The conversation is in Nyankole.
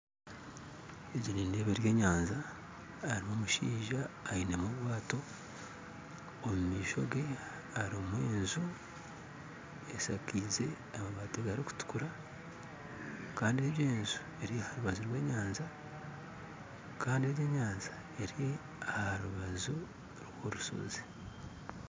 Egyi nindeeba eri enyanja harumu omushaija ainemu obwato omu maisho ge harumu enju eshakize amabati agarikutukura kandi egyi enju eri harubaju rwa enyanja kandi egi enyanja eri aha rubaju rwa orusozi